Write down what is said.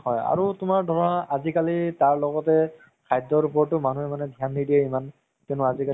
হয় আৰু তুমাৰ ধৰা আজিকালি তাৰ লগতে খাদ্যৰ ওপৰতও মানুহে ধ্যান নিদিয়ে ইমান কিন্তু আজিকালি